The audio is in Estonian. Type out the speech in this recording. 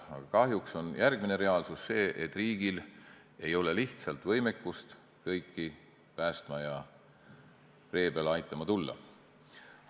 Aga kahjuks on järgmine reaalsus see, et riigil ei ole lihtsalt võimekust kõiki päästma ja vee peale aitama tulla.